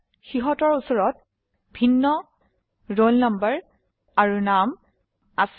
আমাৰ উচৰত ভিন্ন ৰোল নম্বৰ আৰু নাম আছে